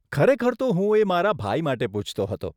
ખરેખર તો હું એ મારા ભાઈ માટે પૂછતો હતો.